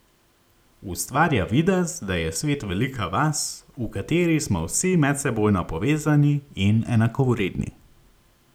Ustvarja videz, da je svet velika vas, v kateri smo vsi medsebojno povezani in enakovredni.